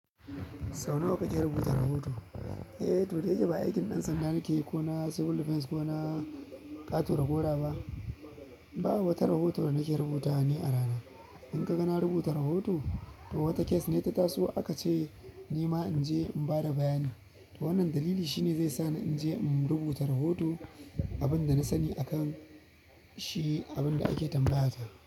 Sau nawa kake rubuta rahoto? Eh, da yake ba aikin ɗan sanda nake yi ko na civil defense ko na ƙato dagora ba. Ba wata rahoto da nake rubuta ne a rana. In kaga na rubuta rahoto to wata case ne ya ta ta so aka ce nima inje in bada bayani to wannan dalili shi ne zai sa ni in je in rubuta rahoto abin da na sani a kan shi, abin da ake tambaya ta.